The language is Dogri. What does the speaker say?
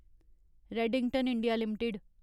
Redington India limited